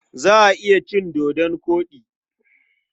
Za a iya cin dodon koɗi.